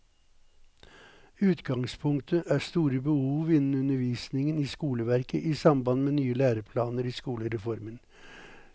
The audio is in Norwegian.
Utgangspunktet er store behov innen undervisningen i skoleverket i samband med nye læreplaner i skolereformen.